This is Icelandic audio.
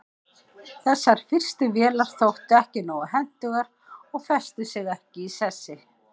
þessar fyrstu vélar þóttu ekki nógu hentugar og festu sig ekki í sessi